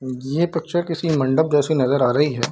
ये पिक्चर किसी मंडप जैसी नजर आ रही है।